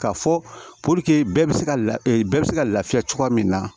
K'a fɔ bɛɛ bɛ se ka la bɛɛ bɛ se ka lafiya cogoya min na